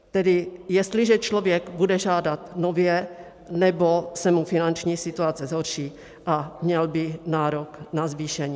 Tedy jestliže člověk bude žádat nově nebo se mu finanční situace zhorší a měl by nárok na zvýšení.